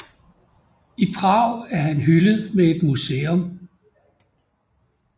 I Prag er han hyldet med et museum